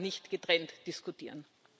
Das kann man nicht getrennt diskutieren.